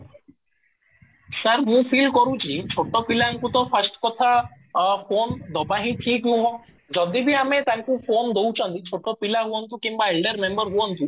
ସାର, ମୁଁ feel କରୁଛି ଛୋଟ ପିଲାଙ୍କୁ ତ first କଥା ଫୋନ ଦବା ହିଁ ଠିକ ନୁହଁ ଯଦି ବି ଆମେ ତାଙ୍କୁ ଫୋନ ଦଉଛନ୍ତି ଛୋଟ ପିଲା ହୁଅନ୍ତୁ କିମ୍ବା elder ମେମ୍ବର ହୁଅନ୍ତୁ